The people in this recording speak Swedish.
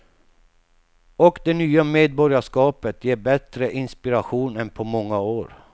Och det nya medborgarskapet ger bättre inspiration än på många år.